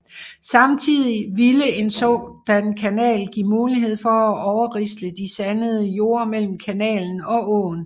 Samtidig ville en sådan kanal give mulighed for at overrisle de sandede jorde mellem kanalen og åen